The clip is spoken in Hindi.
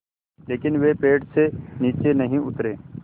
लेकिन वे पेड़ से नीचे नहीं उतरे